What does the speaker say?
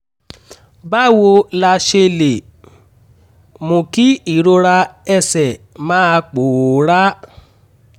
báwo la ṣe lè mú kí ìrora ẹsẹ̀ máa pòórá?